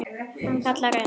Hann kallar enn.